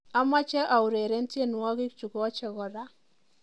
amoche aureren tienywogit chugochen kora